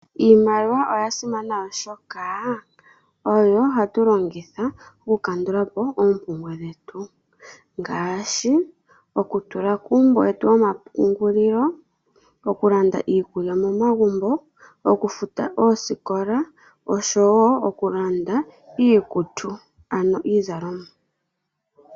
Iiimaliwa oya simana oshoka oyo hatu longitha oku kandulapo oompumbwe dhetu, ngaashi oku tula kuumbo wetu womapungulilo, okulanda iikulya momagumbo, okufuta oosikola nokulanda iikutu, ano iizalomwa.